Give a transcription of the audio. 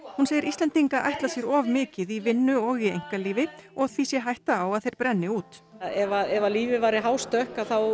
hún segir Íslendinga ætla sér of mikið í vinnu og í einkalífi og því sé hætta á að þeir brenni út ef að lífið væri hástökk þá